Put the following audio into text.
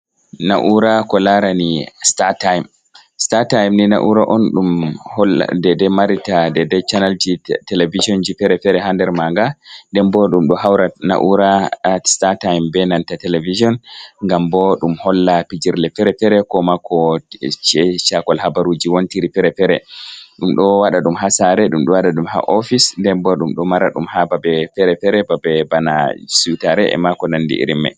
Na'ura ko lara ni sitata'im. Sitata'i ni naura on ɗum ɗo marita ɗaiɗai channalji televijonji fere-fere ha nder manga. Nɗenbo ɗum ɗo haura na'ura sitata'im be nanta televijon ngam bo ɗum holla pijirle fere-fere. Ko ma ko ci'e chakol habaruji wontiri fere-fere. Ndum do waɗa ɗum ha sare ɗum ɗo waɗa dum ha ofise, nden bo ɗum ɗo mara ɗum ha babe fere-fere, babe bana siutare e mako nanɗi irin mai.